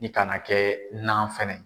I kana kɛ dunan fana